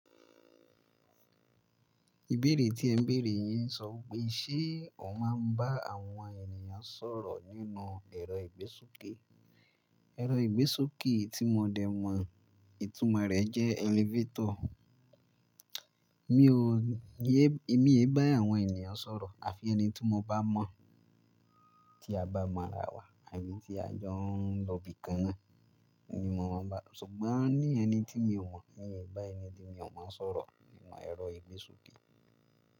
Ìbéèrè tí ẹ béèrè yín sọ pé, ṣe o máa ń bá àwọn ènìyàn sọ̀rọ̀ nínú ẹ̀rọ ìgbésókè? Ẹ̀rọ ìgbésókè tí mo dẹ̀ mọ̀ ìtumọ̀ rẹ̀ jẹ́ elevator. Mí ò yé, èmi ò bá àwọn ènìyàn sọ̀rọ̀ àfi ẹni tí mo bá mọ̀, tí a bá mọ ara wa àti tí a jọ ń lọ ibi kan náà ní mo máa ń bá-- ṣùgbọ́n ní ẹni tí mi ò mọ̀, mí ò bá ẹni tí mi ò mọ̀ sọ̀rọ̀ nínú ẹ̀rọ ìgbésókè.